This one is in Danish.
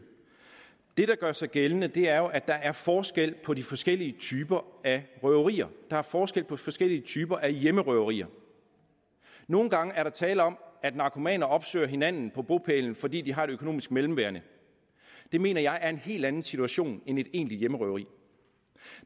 det der gør sig gældende er jo at der er forskel på de forskellige typer af røverier der er forskel på de forskellige typer af hjemmerøverier nogle gange er der tale om at narkomaner opsøger hinanden på bopælen fordi de har et økonomisk mellemværende det mener jeg er en helt anden situation end et egentligt hjemmerøveri